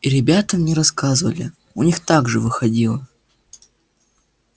и ребята мне рассказывали у них так же выходило